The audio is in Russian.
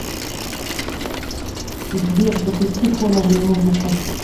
сбер запусти фоновую музыку